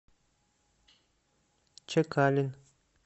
чекалин